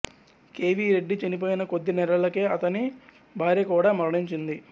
K V Reddy చనిపోయిన కొద్ది నెలలకే అతని భార్య కూడా మరణించింది